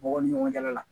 Mɔgɔw ni ɲɔgɔn cɛla la